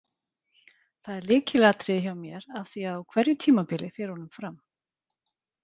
Það er lykilatriði hjá mér af því að á hverju tímabili fer honum fram.